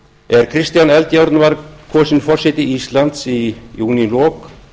er kristján eldjárn var kosinn forseti íslands í júnílok